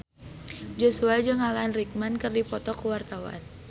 Joshua jeung Alan Rickman keur dipoto ku wartawan